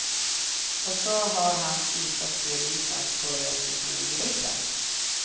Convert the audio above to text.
Och så har han ishockeyelitens skojigaste smilgropar.